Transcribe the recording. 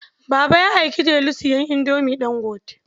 Baba ya aiki Delu sayan Indomin Ɗangote.